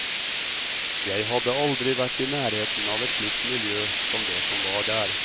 Jeg hadde aldri vært i nærheten av et slikt miljø som det som var der.